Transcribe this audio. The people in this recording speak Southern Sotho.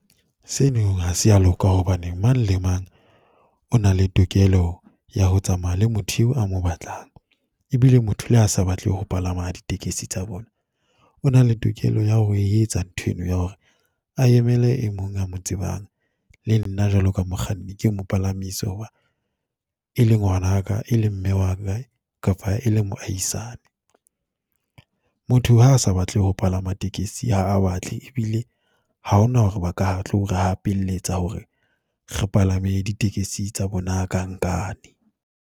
Seno ha se ya loka hobane mang le mang o na le tokelo ya ho tsamaya le motho eo a mo batlang, e bile motho le ha a sa batle ho palama ditekesi tsa bona. O na le tokelo ya ho e etsa ntho eno ya hore a emele e mong a mo tsebang, le nna jwalo ka mokganni ke mo palamisa ho ba e leng ngwana ka, e leng mme wa, kapa e le moahisane. Motho ha a sa batle ho palama tekesi ha a batle, e bile ha ho na hore ba ka tlore hapelletsa hore re palame ditekesi tsa bona ka nkane.